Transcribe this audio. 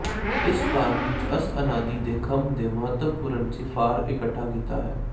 ਇਸ ਭਾਗ ਿਵੱਚ ਅਸ ਅਨਾਦਿ ਦੇ ਥੰਮ੍ਹ ਦੇ ਮਹੱਤਵਪੂਰਨ ਿਸਫ਼ਾਰ ਇਕੱਠਾ ਕੀਤਾ ਹੈ